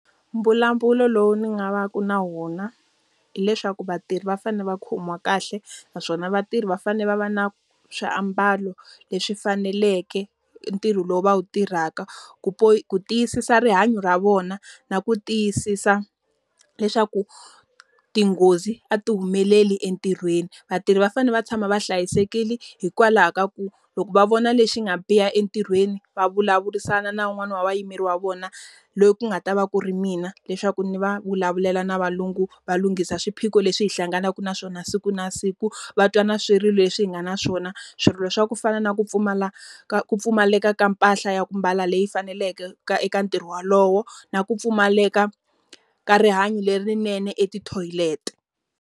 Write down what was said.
Mbulavulo lowu ndzi nga va ka na wona, hileswaku vatirhi va fanele va khomiwa kahle, naswona vatirhi va fanele va va na swiambalo leswi faneleke ntirho lowu va wu tirhaka. Ku ku tiyisisa rihanyo ra vona na ku tiyisisa leswaku tinghozi a ti humeleli entirhweni. Vatirhi va fanele va tshama va hlayisekile hikwalaho ka ku loko va vona lexi nga biha entirhweni, va vulavurisana na wun'wani wa vayimeri wa vona. Loyi ku nga ta va ku ri mina leswaku ndzi va vulavulela na valungu va lunghisa swiphiqo leswi hi hlanganaka na swona siku na siku. Va twa na swirilo leswi hi nga na swona. Swirilo swa ku fana na ku pfumala ka ku pfumaleka ka mpahla ya ku mbala leyi faneleke ka eka ntirho wolowo, na ku pfumaleka ka rihanyo lerinene eka tithoyileti.